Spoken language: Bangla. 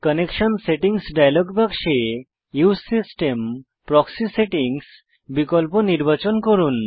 কানেকশন সেটিংস ডায়লগ বাক্সে উসে সিস্টেম প্রক্সি সেটিংস বিকল্প নির্বাচন করুন